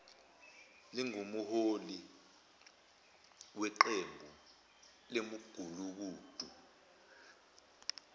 lingumholi weqembu lemigulukudu